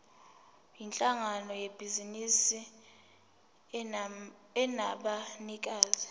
yinhlangano yebhizinisi enabanikazi